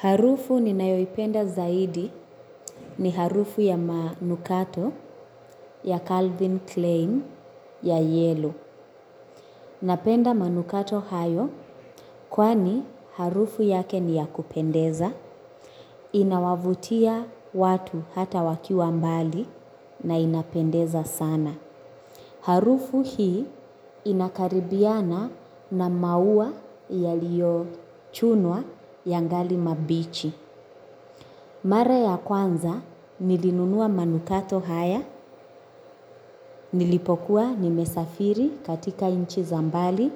Harufu ninayoipenda zaidi ni harufu ya manukato ya Calvin Klein ya yellow. Napenda manukato hayo kwani harufu yake ni ya kupendeza. Inawavutia watu hata wakiwa mbali na inapendeza sana. Harufu hii inakaribiana na maua yaliyochunwa yangali mabichi. Mara ya kwanza nilinunua manukato haya, nilipokuwa nimesafiri katika nchi za mbali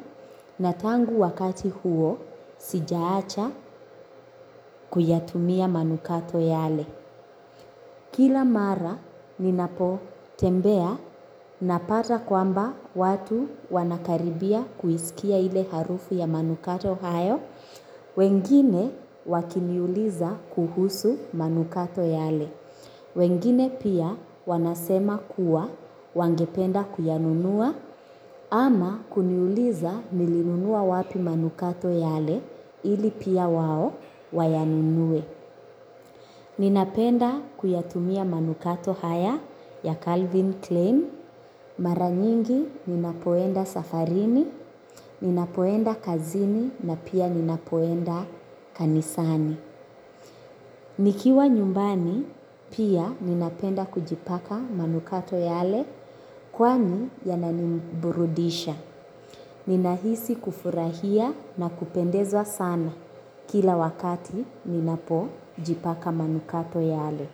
na tangu wakati huo sijaacha kuyatumia manukato yale. Kila mara ninapotembea napata kwamba watu wanakaribia kuisikia ile harufu ya manukato hayo, wengine wakiniuliza kuhusu manukato yale. Wengine pia wanasema kuwa wangependa kuyanunua ama kuniuliza nilinunua wapi manukato yale ili pia wao wayanunue. Ninapenda kuyatumia manukato haya ya Calvin Klein, mara nyingi ninapoenda safarini, ninapoenda kazini na pia ninapoenda kanisani. Nikiwa nyumbani pia ninapenda kujipaka manukato yale kwani yananiburudisha. Ninahisi kufurahia na kupendezwa sana kila wakati ninapojipaka manukato yale.